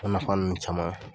O nafa ninnu caman